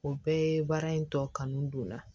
O bɛɛ ye baara in tɔ kanu don n na